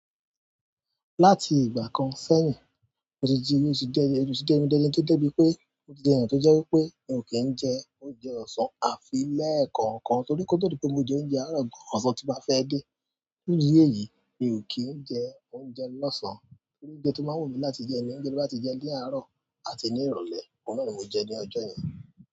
Láti ìgbà kan sẹ́yìn, mo ti jíye sí dé, èrù sí dé mi dé, ẹni tí ó dé mi pé, mo ti di ènìyàn tó jẹ́ wípé mi ò kí ń jẹ oúnjẹ ọ̀sán àfi lẹ́ẹ̀kan kan torí kó tó di pé mo jẹ oúnjẹ àárọ̀ gan ọ̀sán tí máa fẹ́ dé. Ní ìdí èyí, mi ò kí ń jẹ oúnjẹ lọ́sàn-án torí oúnjẹ tó máa wù mí láti jẹ ni oúnjẹ mo bá ti jẹ ní àárọ̀ àti ní ìrọ̀lẹ́, òhun náà ni mo jẹ ní ọjọ́ yẹn.